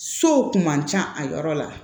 Sow kun man ca a yɔrɔ la